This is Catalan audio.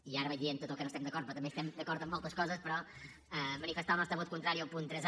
i ara vaig dient tot el que no estem d’acord però també estem d’acord en moltes coses però manifestar el nostre vot contrari al punt tres